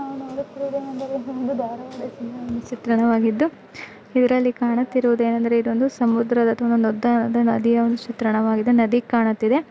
ನಾವು ನೋಡುತ್ತಿರುವುದು ಒಂದು ಧಾರವಾಡದ ಚಿತ್ರಣವಾಗಿದ್ದು ಇದರಲ್ಲಿ ಕಾಣುತ್ತಿರುವುದು ಏನೆಂದರೆ ಇದೊಂದು ಸಮುದ್ರ ಅಥವಾ ದೊಡ್ಡದಾದ ನದಿಯ ಒಂದು ಚಿತ್ರಣವಾಗಿದೆ ನದಿ ಕಾಣುತ್ತಿದೆ.